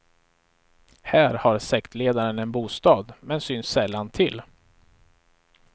Här har sektledaren en bostad, men syns sällan till.